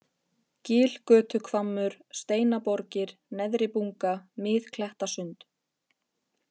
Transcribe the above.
Gilgötuhvammur, Steinaborgir, Neðribunga, Miðklettasund